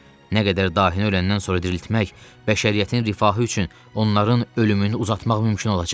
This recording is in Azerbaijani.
Nə qədər dahini öləndən sonra diriltmək, bəşəriyyətin rifahı üçün onların ölümünü uzatmaq mümkün olacaq.